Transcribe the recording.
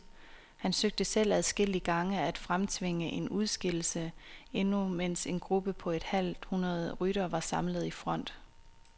Han søgte selv adskillige gange at fremtvinge en udskillelse, endnu mens en gruppe på et halvt hundrede ryttere var samlet i front.